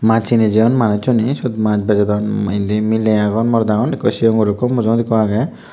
maj hine jiyun manujchune sot maj bejodon indi miley agon morot agon ekko sigon guro ekko mujungot ekko aage.